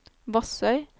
Vassøy